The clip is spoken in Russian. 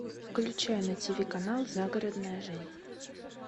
включай на тиви канал загородная жизнь